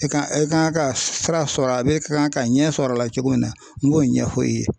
E kan e kan ka sira sɔrɔ a la e kan ka ɲɛ sɔrɔ a la cogo min na n b'o ɲɛfɔ e ye.